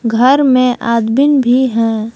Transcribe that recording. घर में आदमीन भी हैं।